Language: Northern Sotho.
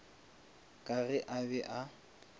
ka ge a be a